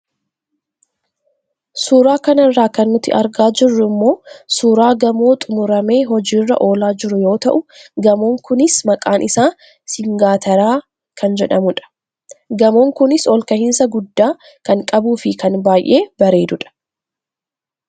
Suuraa kanarraa kan nuti argaa jirru immoo suuraa gamoo xumuramee hojiirra oolaa jiruu yoo tahu gamoon kunis maqaan isaa siingaateraa kan jedhamudha. Gamoon kunis olkahinsaa gudddaa kan qabu fi kan baayee bareeduudha.